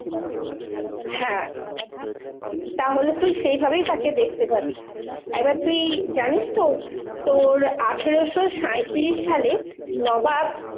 হ্যাঁ তাহলে তুই সেইভাবেই তাকে দেখতে পাবি। এবার তুই জানিস তো? তোর আঠেরোশো সাঁইত্রিশ সালে নবাব